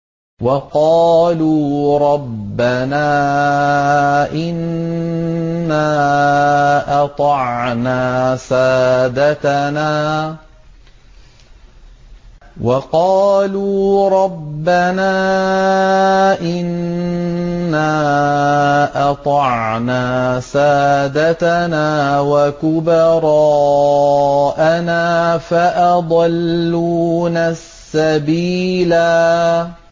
وَقَالُوا رَبَّنَا إِنَّا أَطَعْنَا سَادَتَنَا وَكُبَرَاءَنَا فَأَضَلُّونَا السَّبِيلَا